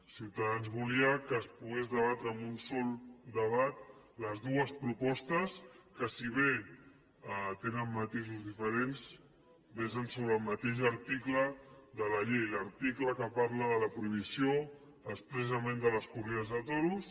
ciutadans volia que es poguessin debatre amb un sol debat les dues propostes que si bé tenen matisos diferents versen sobre el mateix article de la llei l’article que parla de la prohibició expressament de les corrides de toros